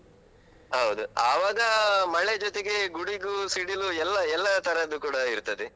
ಹೌದು. ಅವಾಗ ಮಳೆ ಜೊತೆಗೆ ಗುಡುಗು, ಸಿಡಿಲು ಎಲ್ಲ ಎಲ್ಲ ತರದ್ದು ಕೂಡ ಇರ್ತದೆ.